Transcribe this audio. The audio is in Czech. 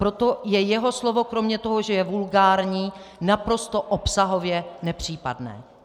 Proto je jeho slovo kromě toho, že je vulgární, naprosto obsahově nepřípadné.